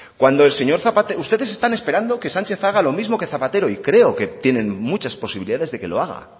ustedes están esperando que sánchez haga lo mismo que zapatero y creo que tienen muchas posibilidades de que lo haga